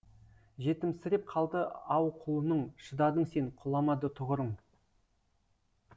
жетімсіреп қалды ау құлының шыдадың сен құламады тұғырың